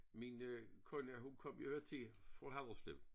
Min øh kone hun kom jo hertil fra Haderslev